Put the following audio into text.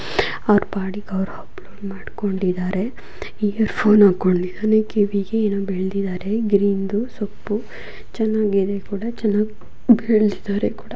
ಅವರ ಪಾಡಿಗೆ ಅವರಿದ್ದಾರೆ ಅಂಗೆ ಫೋನ್ ನೋಡ್ಕೊಂಡಿದ್ದಾರೆ ಚೆನ್ನಾ ಕಾಣಿಸ್ತಾ ಇದ್ದಾರೆ ಅವರ ಹಿಂದೆ ಹೊಲ ಗದ್ದೆ ಇದೆ.